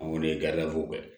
O de ye